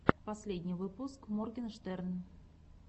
последний выпуск моргенштерн